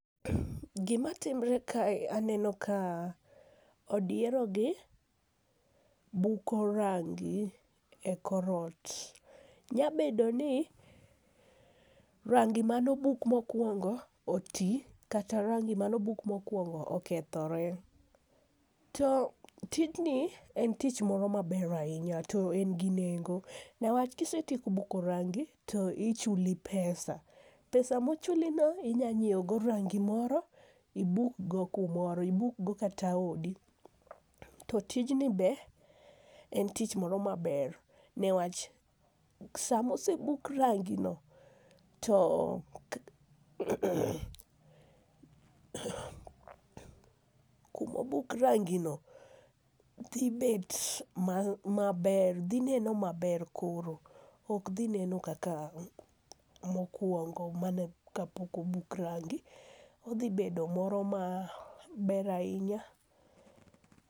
Gimatimre kae, aneno ka odierogi buko rangi e kor ot. Nyabedo ni rangi manobuk mokwongo oti, kata rangi manobuk mokwongo okethore. To tijni en tich moro maber ahinya, to en gi nengo niwach kisetieko buko rangi to ichuli pesa. pesa mochulino, inya nyiewogo rangi moro, ibukgo kumoro, ibukgo kata odi, to tijni be, en tich moro maber niwach samosebuk rangino, to kumobuk rangino, dhi bet maber, dhi neno maber koro, ok dhi neno kaka mokwongo, mane kaka obuk rangi, odhi bedo moro maber ahinya.